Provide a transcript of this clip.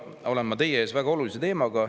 Täna olen ma teie ees väga olulise teemaga.